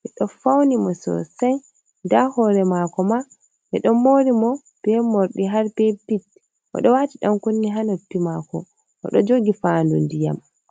beɗo fauni mo sosai. Nda hore mako ma be ɗo mori mo be mordi har be bit. Odo wati yom kunni ha noppi mako, odo jogi fandu ndiyam.